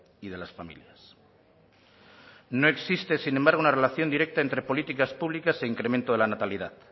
y de las familias no existe sin embargo una relación directa entre políticas públicas e incremento de la natalidad